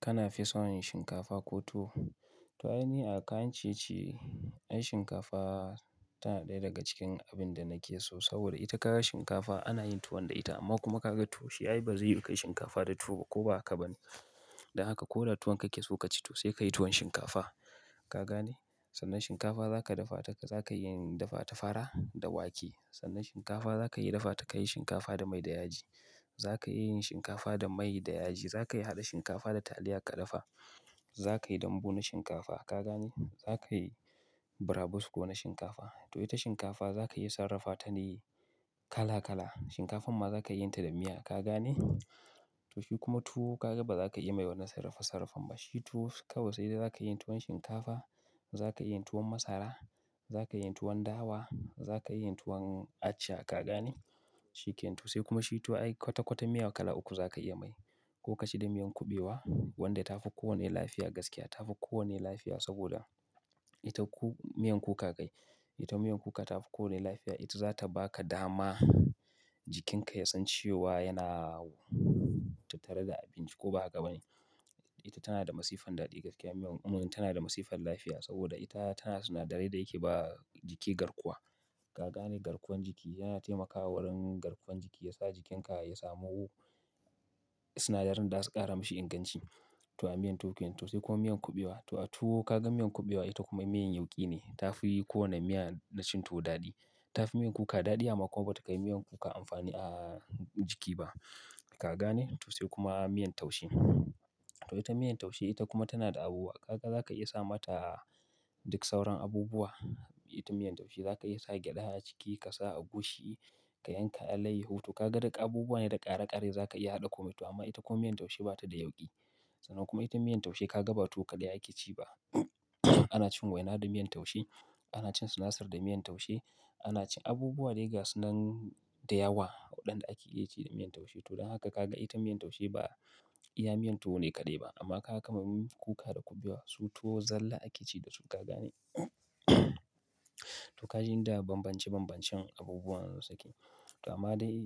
Kana fi son yin shinkafa ko tuwo? To ainihi a kan ciye ciye, ai shinkafa tana ɗaya daga cikin abin da nake so. Saboda ita ka ga shinkafa ana yin tuwo da ita amma kuma ka ga tuwo shi ai ba zai yiwu ka yi shinkafa da tuwo ba ko ba haka ba ne. Dan haka ko da tuwon kake so ka ci to sai ka yi tuwon shinkafa. Ka gane? Sannan shinkafa za ka dafa ta, za ka iya dafa ta fara da wake. Sannan shinkafa za ka iya dafa ta ka yi shinkafa da mai da yaji. Za ka iya yin shinkafa da mai da yaji. Za ka iya haɗa shinkafa da taliya ka dafa. Za ka yi dambu na shinkafa. Ka gane? Za ka yi burabusko na shinkafa. To ita shinkafa za ka iya sarrafa ta ne kala kala. Shinkafan ma za ka iya yin ta da miya. Ka gane? To shi kuma tuwo ka ga ba za ka iya yi mai wani sarrafa sarrafan ba shi tuwo kawai sai dai za ka yi tuwon shinkafa, za ka yi tuwon masara, za ka yi tuwon dawa, za ka yi tuwon aca. Ka gane? Shi ke nan tuwo sai kuma shi tuwo ai kwata kwata miya kala uku za ka iya mai. Ko kaci da miyan kuɓewa wadda ta fi kowanne lafiya gaskiya. Ta fi kowanne lafiya saboda ita ku-- miyan kuka kai, ita miyan kuka ta fi kowanne lafiya. Ita za ta ba ka dama jikinka ya san cewa yana tattare da abinci ko ba haka ba ne. Ita tana da masifan daɗi gaskiya. Miyan, um, tana da masifan lafiya saboda ita tana da sinadarai da yake ba jiki garkuwa. Ka gane? Garkuwar jiki. Yana taimakawa wurin garkuwar jiki. Ya sa jikinka ya samu sinadarin da za su ƙara mashi inganci. To a miyan tukun to sai kuma miyan kuɓewa. To a tuwo ka ga miyan kuɓewa ita kuma miyan yauƙi ne. Ta fi kowanne miya na cin tuwo daɗi. Ta fi miyan kuka daɗi amma kuma ba ta kai miyan kuka amfani a jiki ba. Ka gane? To sai kuma miyan taushe. To ita miyan taushe ita kuma tana da abubuwa. Ka ga za ka iya sa mata duk sauran abubuwa. Ita miyan taushe za ka iya sa gyada a ciki ka sa agushi, ka yanka alayyahu to ka ga duka abubuwa ne da ƙare-ƙare za ka iya haɗa komai to amma ita kuma miyan taushe ba ta da yauƙi. Sannan kuma ita miyan taushe ka ga ba tuwo kaɗai ake ci ba. Ana cin waina da miyan taushe, ana cin sinasir da miyan taushe, ana cin abubuwa daiga sunan da yawa waɗanda ake iya ci da miyan taushe. To don haka ka ga ita miyan taushe ba iya miyan tuwo ne kaɗai ba amma haka kuma miyan kuka da kuɓewa su tuwo zalla ake ci dasu. Ka gane? To ka ji yanda banbance banbancen abubuwan da zan saki. To amma dai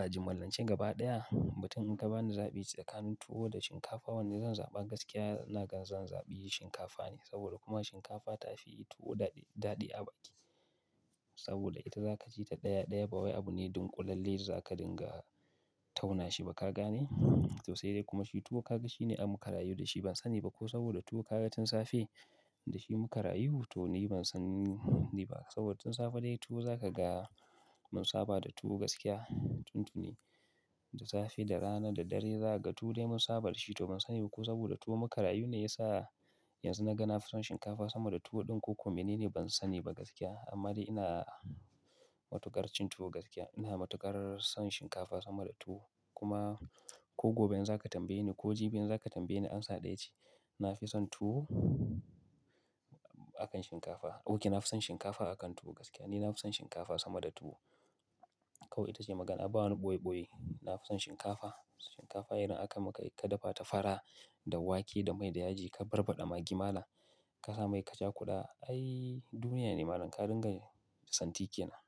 a jimallancen gaba ɗaya, bayan in gaba ni zaɓi tsakanin tuwo da shinkafa wanne zan zaɓa gaskiya, na gan zan zaɓi shinkafa ne. Saboda kuma shinkafa ta fi tuwo daɗi, daɗi a baki. Saboda ita za ka ci ta ɗaya ɗaya ba wai abu ne ɗunƙulalle da za ka dinga tauna shi ba. Ka gane? To sai dai kuma shi tuwo ka ga shi ne ab mu ka rayu da shi ban sani ba ko saboda tuwo ka ga tun safe da shi mu ka rayu. To ni ban sani ba saboda tun safe dai tuwo za ka ga mun saba da tuwo gaskiya. Tun tuni, da safe, da rana, da dare za ka ga tuwo dai mun saba da shi to ban sani ba ko saboda tuwo mu ka rayu ne ya sa yanzu na gana son shinkafa sama da tuwo ɗin ko kuma mene ne ban sani ba gaskiya. Amma dai ina matuƙar cin tuwo gaskiya. Ina matuƙar son shinkafa sama da tuwo. Kuma ko gobe in za ka tambaye ni ko jibi in za ka tambaye ni amsa ɗaya ce. Na fi son tuwo akan shinkafa. Ok, na fi son shinkafa akan tuwo gaskiya. Ni na fi son shinkafa sama da tuwo. Kawai ita ce magana. Ba wani ɓoye ɓoye. Na fi son shinkafa. Shinkafa idan aka maka ka dafa ta fara da wake, da mai, da yaji, ka barbaɗa maggi malam, ka sa mai ka caƙuda. Ai duniyya ne malam. Ka dinga son tike na.